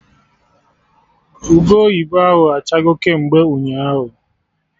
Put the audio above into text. Ube oyibo ahụ achago kemgbe ụnyaahụ